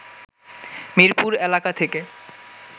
মিরপুর এলাকা থেকে